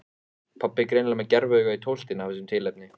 Pabbi er greinilega með gerviaugað í tóftinni af þessu tilefni.